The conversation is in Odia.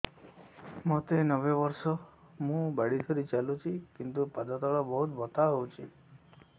ମୋତେ ନବେ ବର୍ଷ ମୁ ବାଡ଼ି ଧରି ଚାଲୁଚି କିନ୍ତୁ ପାଦ ତଳ ବହୁତ ବଥା ହଉଛି